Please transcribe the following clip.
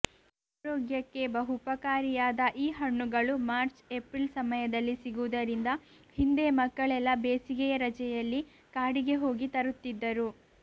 ಆರೋಗ್ಯಕ್ಕೆ ಬಹುಪಕಾರಿಯಾದ ಈ ಹಣ್ಣುಗಳು ಮಾರ್ಚ್ ಎಪ್ರಿಲ್ ಸಮಯದಲ್ಲಿ ಸಿಗುವುದರಿಂದ ಹಿಂದೆ ಮಕ್ಕಳೆಲ್ಲಾ ಬೇಸಿಗೆಯ ರಜೆಯಲ್ಲಿ ಕಾಡಿಗೆ ಹೋಗಿ ತರುತ್ತಿದ್ದರು